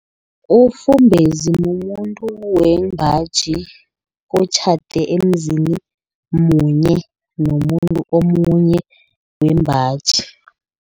Umfumbezi mumuntu wembaji, otjhade emzini munye nomuntu omunye wembaji.